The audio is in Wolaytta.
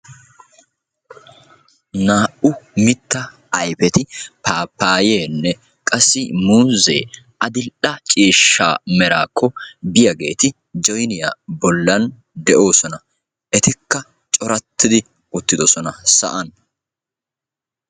Naa'u mittaa ayfeti paappayenne qassi muuzee, adil''e ciishsha meraakko biyageeti jooniya bollan de'oosona. Etikka corattidi uttidosona sa'an.